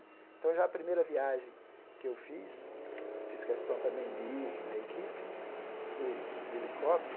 Então, já a primeira viagem que eu fiz, fiz questão também de ir com a equipe, fui de de helicóptero.